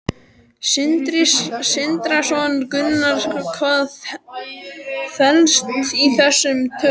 Sindri Sindrason: Gunnar, hvað felst í þessum tölum?